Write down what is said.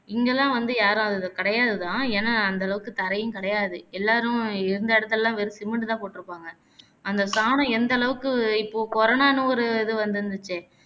இங்கயெல்லாம் வந்து யாரும் அத கிடையாது தான் ஏனா அந்த அளவுக்கு தரையும் கிடையாது எல்லாரும் இருந்த இடத்துலலாம் வெறும் cement தான் போட்டிருப்பாங்க அந்த சாணம் எந்த அளவுக்கு இப்போ corona ன்னு ஒரு இது வந்திருந்துச்சே